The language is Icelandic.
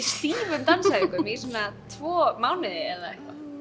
stífum dansæfingum í svona tvo mánuði eða eitthvað